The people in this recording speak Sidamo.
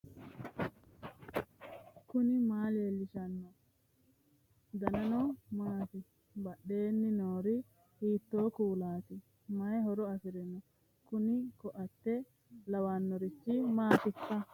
knuni maa leellishanno ? danano maati ? badheenni noori hiitto kuulaati ? mayi horo afirino ? kuni koate lawannorichi maatikka